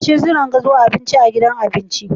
Masu jiran gado Abinci a gidan abinci